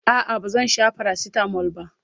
a'a ba zan Sha paracetamol ba